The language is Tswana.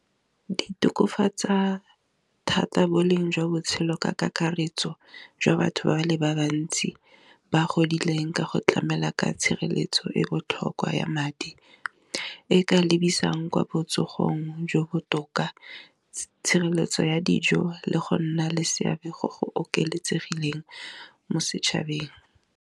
Di tokafatsa thata boleng jwa botshelo ka kakaretso jwa batho ba le ba bantsi, ba godileng ka go tlamela ka tshireletso e botlhokwa ya madi, e ka lebisang kwa botsogong jo bo botoka tshireletso ya dijo le go nna le seabe go go oketsegileng mo setshabeng.